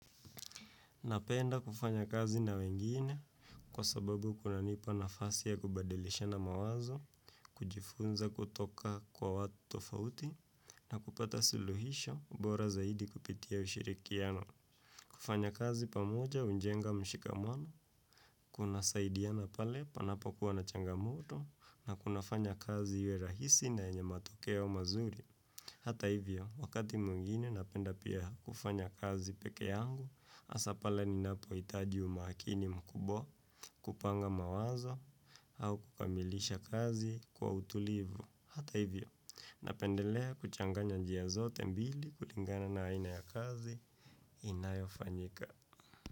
Napenda kufanya kazi na wengine kwa sababu kuna nipa nafasi ya kubadilishana mawazo, kujifunza kutoka kwa watu tofauti, na kupata suluhisho ubora zaidi kupitia ushirikiano. Kufanya kazi pamoja hujenga mshikamano, kuna saidiana pale panapo kuwa na changamoto, na kuna fanya kazi iwe rahisi na yenye matokeo mazuri. Hata hivyo, wakati mwingine napenda pia kufanya kazi pekee yangu, hasa pale ninapohitaji umakini mkubwa kupanga mawazo, au kukamilisha kazi kwa utulivu. Hata hivyo, napendelea kuchanganya njia zote mbili kulingana na aina ya kazi inayofanyika.